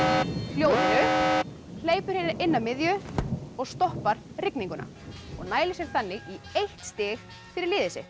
hljóðinu hleypur hér inn að miðju og stoppar rigninguna og nælir sér þannig í eitt stig fyrir liðið sitt